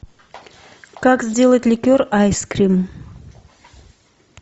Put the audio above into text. как сделать ликер айс крим